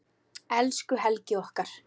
Elsku Helgi okkar.